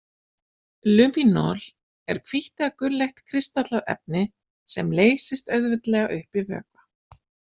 Luminol er hvítt eða gulleitt, kristallað efni sem leysist auðveldlega upp í vökva.